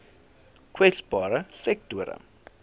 kwesbare sektore